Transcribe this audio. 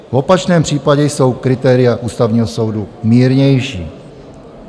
V opačném případě jsou kritéria Ústavního soudu mírnější."